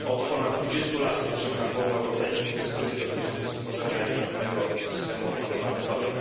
Od ponad 20 lat toczymy na forum europejskim dyskusje dotyczące stworzenia jednolitego systemu ochrony patentowej.